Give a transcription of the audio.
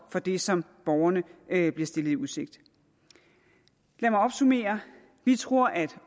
for det som borgerne bliver stillet i udsigt lad mig opsummere vi tror at